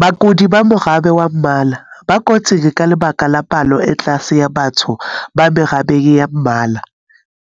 Bakudi ba morabe wa ba mmala, ba kotsing ka lebaka la palo e tlase ya batho ba merabeng ya ba mmala,